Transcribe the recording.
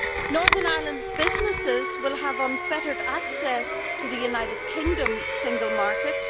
Northern Ireland's businesses will have unfettered access to the United Kingdom single market